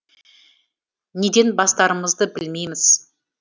неден бастарымызды білмейміз